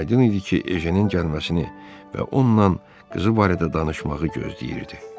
Aydın idi ki, Ejenin gəlməsini və onunla qızı barədə danışmağı gözləyirdi.